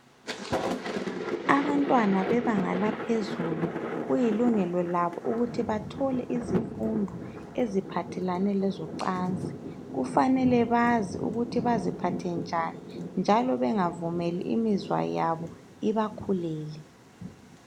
Abantwana bebanga laphezulu kulilungelo labo ukuthi bathole izifundo eziphathelane lezocansi. Kufanele bazi ukuthi baziphathe njani njalo bengavumeli imizwa yabo ibakhulele.